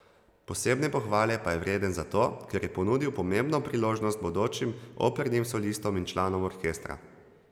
Posebne pohvale pa je vreden zato, ker je ponudil pomembno priložnost bodočim opernim solistom in članom orkestra.